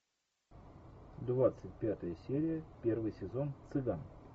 двадцать пятая серия первый сезон цыган